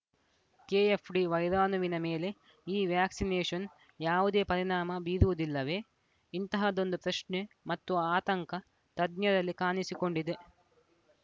KFD ವೈರಾಣುವಿನ ಮೇಲೆ ಈ ವ್ಯಾಕ್ಸಿನೇಶನ್‌ ಯಾವುದೇ ಪರಿಣಾಮ ಬೀರುವುದಿಲ್ಲವೇ ಇಂತಹದೊಂದು ಪ್ರಶ್ನೆ ಮತ್ತು ಆತಂಕ ತಜ್ಞರಲ್ಲಿ ಕಾಣಿಸಿಕೊಂಡಿದೆ